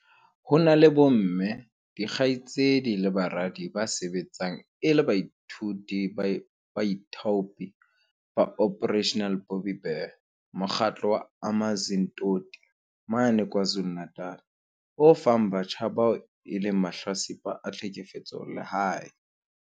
Ho na le bomme, dikgaitsedi le baradi ba sebetsang e le baithuti ba baithaopi ba Operation Bobbi Bear, mokgatlo o Amanzimtoti mane KwaZulu-Natal o fang batjha ba bao e leng mahlatsipa a tlhekefetso lehae.